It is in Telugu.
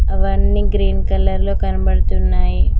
అవన్నీ గ్రీన్ కలర్ లో కనబడుతున్నాయి.